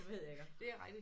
Ved jeg godt